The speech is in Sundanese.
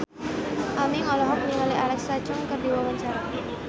Aming olohok ningali Alexa Chung keur diwawancara